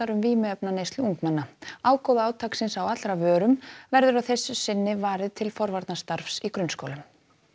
um vímuefnaneyslu ungmenna ágóða átaksins á allra vörum verður að þessu sinni varið til forvarnarstarfs í grunnskólum